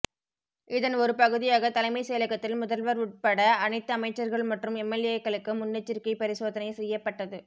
இதன் ஒரு பகுதியாக தலைமைச்செயலகத்தில் முதல்வர் உள்பட அனைத்து அமைச்சர்கள் மற்றும் எம்எல்ஏக்களுக்கு முன்னெச்சரிக்கை பரிசோதனை செய்யப்பட்டது